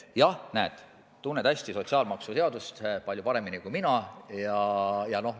Jah, näed, tunned hästi sotsiaalmaksuseadust, palju paremini kui mina.